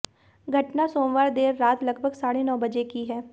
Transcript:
घटना सोमवार देर रात लगभग साढ़े नौ बजे की है